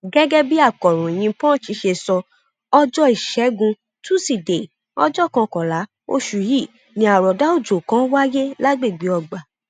gẹgẹ bí akọròyìn punch ṣe sọ ọjọ ìṣẹgun tusidee ọjọ kọkànlá oṣù yìí ni àròọdá ọjọ kan wáyé lágbègbè ọgbà